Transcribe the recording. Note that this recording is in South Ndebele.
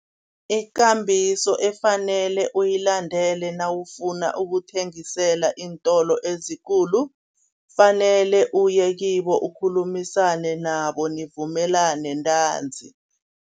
Ikambiso efanele uyilandele nawufuna ukuthengisela iintolo ezikulu, fanele uye kibo ukhulumisane nabo nivumelane ntanzi.